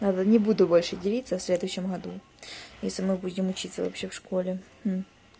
ладно не буду больше делится в следующем году если мы будем учиться вообще в школе